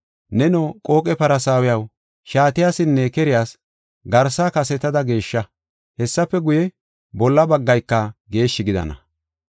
Neno qooqe Farsaawiyaw, shaatiyasinne keriyas garsa kasetada geeshsha. Hessafe guye, bolla baggayka geeshshi gidana.